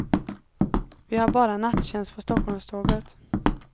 Vi har bara nattjänst på stockholmståget.